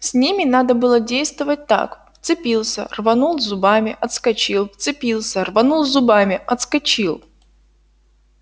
с ними надо было действовать так вцепился рванул зубами отскочил вцепился рванул зубами отскочил